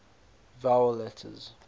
vowel letters